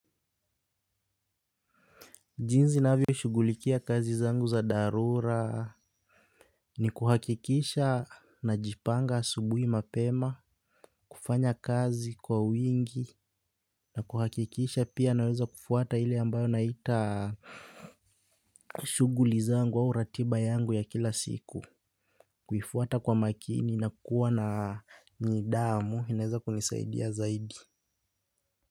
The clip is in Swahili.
Jinzi navyo shugulikia kazi zangu za darura. Ni kuhakikisha najipanga asubuhi mapema, kufanya kazi kwa wingi, na kuhakikisha pia naweza kufuata hili ambayo naita shuguli zangu au ratiba yangu ya kila siku. Kuifwata kwa makini na kuwa na nidamu, inaweza kunisaidia zaidi.